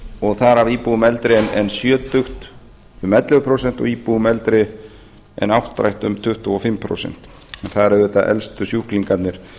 og þar af íbúum eldri en um sjötugt um ellefu prósent og íbúum eldri en áttrætt um tuttugu og fimm prósent því það eru auðvitað elstu sjúklingarnir